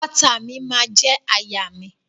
Àpáta mi ma je àyà mi.